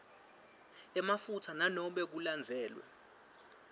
emaphutsa nanobe kulandzelwe